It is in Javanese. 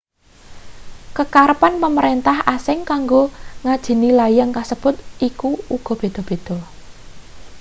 kekarepan pamrentah asing kanggo ngajeni layang kasebut iku uga beda-beda